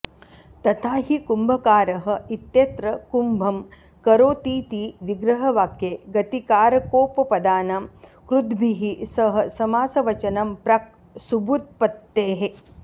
तथा हि कुम्भकारः इत्यत्र कुम्भं करोतीति विग्रहवाक्ये गतिकारकोपपदानां कृद्भिः सह समासवचनं प्राक् सुबुत्पत्तेः